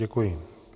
Děkuji.